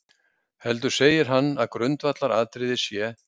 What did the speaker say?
Heldur segir hann að grundvallaratriðið sé.